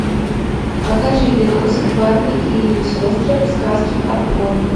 покажи видосик барби и ее сестры в сказке о пони